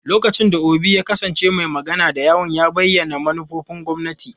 Lokacin da Obi ya kasance mai magana da yawun, ya bayyana manufofin gwamnati.